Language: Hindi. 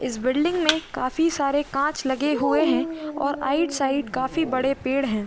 इस बिल्डिंग में काफी सारे कांच लगे हुए हैं और आइट साइड काफी बड़े पेड़ हैं।